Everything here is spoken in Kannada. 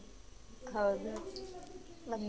ಹೌದಾ ಮತ್ತೆ?